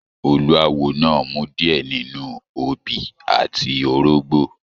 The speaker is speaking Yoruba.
Olúáwo náà rmu diẹ nínú obi àti orógbọ.